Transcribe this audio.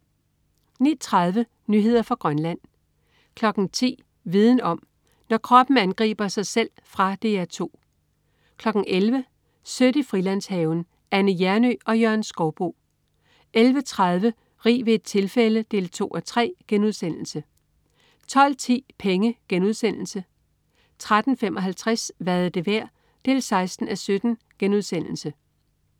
09.30 Nyheder fra Grønland 10.00 Viden om: Når kroppen angriber sig selv. Fra DR 2 11.00 Sødt i Frilandshaven. Anne Hjernøe og Jørgen Skouboe 11.30 Rig ved et tilfælde 2:3* 12.10 Penge* 13.55 Hvad er det værd? 16:17*